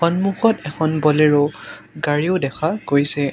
সন্মুখত এখন ব'লেৰো গাড়ীও দেখা গৈছে।